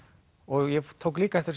ég tók líka eftir